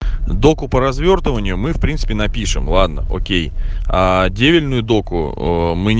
доку по развёртыванию мы принципе напишем ладно окей а отдельную доку мы